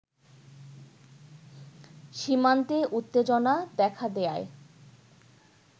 সীমান্তে উত্তেজনা দেখা দেয়ায়